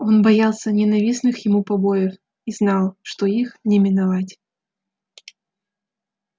он боялся ненавистных ему побоев и знал что их не миновать